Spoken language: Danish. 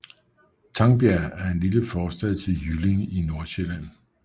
Tangbjerg er en lille forstad til Jyllinge i Nordsjælland med